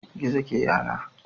Gizo ke yana.